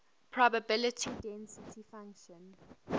probability density function